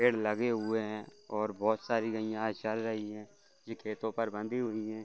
पेड़ लगे हुए हैं और बहुत सारी गइया चर रही हैं। ये खेतों पर बंधी हुई हैं।